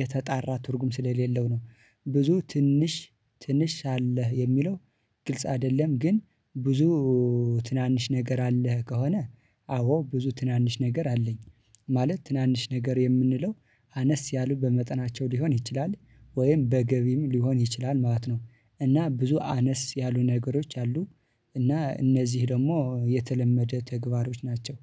የተጣራ ትርጉም ስለሌለው ነው። ብዙ ትንሽ ትንሽ አለህ የሚለው ግልጽ አይደለም። ግን ብዙ ትናንሽ ነገር አለህ ከሆነ አዎ ብዙ ትናንሽ ነገር አለኝ። ማለት ትናንሽ ነገር የምንለው አነስ ያሉ በመጠናቸው ሊሆን ይችላል ወይም በገቢም ሊሆን ይችላል ማለት ነው። እና ብዙ አነስ ያሉ ነገሮች አሉ። እና እነዚህ ደግሞ የተለመደ ተግባሮች ናቸው።